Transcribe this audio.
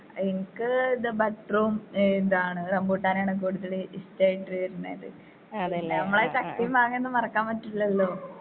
എനിക്ക് ഇത് ബട്ടറും എന്താണ് റംബൂട്ടാനാണ് കൂടുതല് ഇഷ്ടായിട്ട് വെരുന്നത് നമ്മളെ ചക്കേം മാങ്ങൊന്നും മറക്കാൻ പറ്റില്ലല്ലോ.